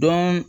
Dɔn